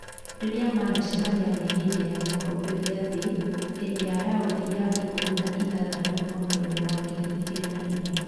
Rĩrĩa manacemania nĩ hĩndĩ ya gĩkombe gĩa thĩ hĩndĩ ya raundi ya ikũmi na ithathatũ mwaka-inĩ wa ngiri igĩrĩ na igĩrĩ